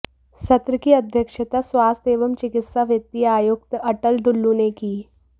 सत्र की अध्यक्षता स्वास्थ्य एवं चिकित्सा वित्तीय आयुक्त अटल डुल्लु ने की